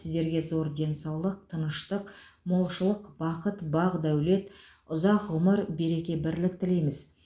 сіздерге зор денсаулық тыныштық молшылық бақыт бақ дәулет ұзақ ғұмыр береке бірлік тілейміз